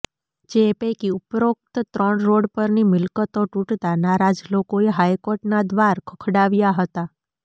જે પૈકી ઉપરોક્ત ત્રણ રોડ પરની મિલકતો તૂટતા નારાજ લોકોએ હાઈકોર્ટના દ્વાર ખખડાવ્યા હતા